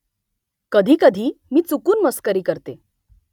कधीकधी मी चुकून मस्करी करते